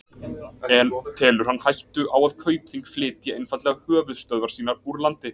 En telur hann hættu á að Kaupþing flytji einfaldlega höfuðstöðvar sínar úr landi?